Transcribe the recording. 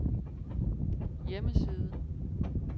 hjemmeside